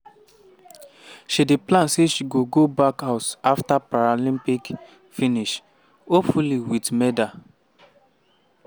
she dey plan say she go go back house afta paralympics finish "hopefully wit medal".